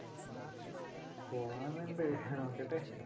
പോണംന്ന്ണ്ട് നോക്കട്ടെ.